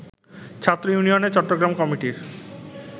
ছাত্র ইউনিয়নের চট্টগ্রাম কমিটির